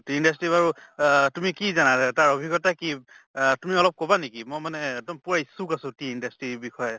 tea industry বাৰু ওহ তুমি কি জানা, তাৰ অভিজ্ঞ্তা কি? আহ তুমি অলপ কʼবা নেকি মই মান এক্দম পুৰা ইচ্ছুক আছো tea industry ৰ বষয়ে